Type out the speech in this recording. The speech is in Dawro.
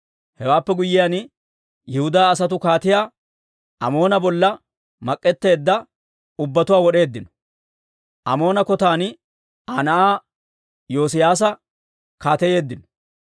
Hewaappe guyyiyaan, Yihudaa asatuu Kaatiyaa Amoona bolla mak'etteedda ubbatuwaa wod'eeddino. Amoona kotan Aa na'aa Yoosiyaasa kaateyeeddino.